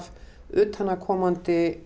utanaðkomandi